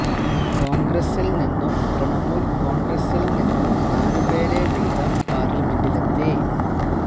കോണ്ഗ്രസില് നിന്നും തൃണമൂല് കോണ്ഗ്രസില് നിന്നും നാലു പേര് വീതം പാര്ലമെന്റിലെത്തി